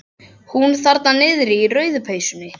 Hún þarna niðri í rauðu peysunni.